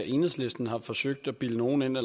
enhedslisten har forsøgt at bilde nogen